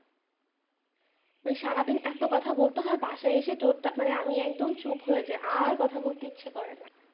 সারাদিন এতো কথা বলতে হয় বাসায় এসে আমি একদম চুপ হয়ে যাই আর কথা বলতে ইচ্ছে করেনা।